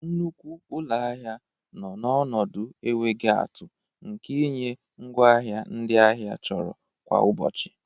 Nnukwu ụlọ ahịa nọ n'ọnọdụ enweghị atụ nke ịnye ngwaahịa ndị ahịa chọrọ kwa ụbọchị.